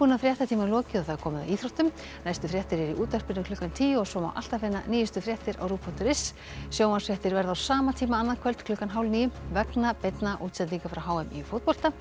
fréttatíma lokið og komið að íþróttum næstu fréttir eru í útvarpinu klukkan tíu og svo má alltaf finna nýjustu fréttir á rúv punktur is sjónvarpsfréttir verða á sama tíma annað kvöld klukkan hálf níu vegna beinna útsendinga frá h m í fótbolta en